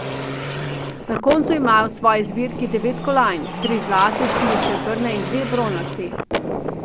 Na koncu imajo v svoji zbirki devet kolajn, tri zlate, štiri srebrne in dve bronasti.